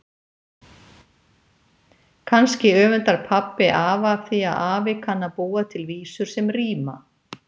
Kannski öfundar pabbi afa af því að afi kann að búa til vísur sem ríma.